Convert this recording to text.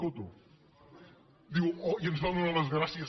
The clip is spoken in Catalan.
coto diu i ens va donar les gràcies